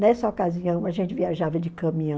Nessa ocasião, a gente viajava de caminhão.